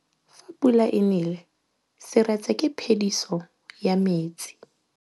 Fa pula e nelê serêtsê ke phêdisô ya metsi.